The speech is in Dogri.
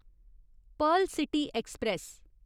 Perl city express